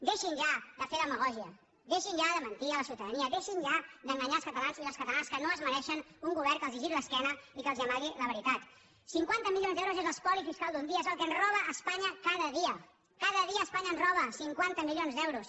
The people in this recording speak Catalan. deixin ja de fer demagògia deixin ja de mentir a la ciutadania deixin ja d’enganyar els catalans i les catalanes que no es mereixen un govern que els giri l’esquena i que els amagui la veritat cinquanta milions d’euros és l’espoli fiscal d’un dia és el que ens roba espanya cada dia cada dia espanya ens roba cinquanta milions d’euros